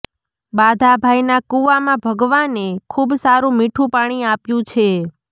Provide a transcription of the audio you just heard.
બાધાભાઈના કુવામાં ભગવાને ખુબ સારું મીઠું પાણી આપ્યું છે